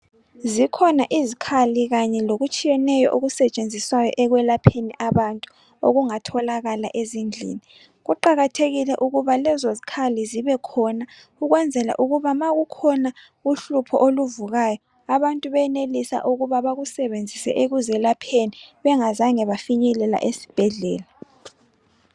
Zikhona izikhali kanye lokutshiyeneyo okusetshenziswayo ekwelapheni abantu okungatholakala ezindlini kuqakathekile ukuba lezozikhali zibekhona ukwenzela ukuba ma kukhona uhlupho oluvukayo abantu benelisa ukuba bakusebenzise ekuzelapheni bengazange bafinyelela esibhedlela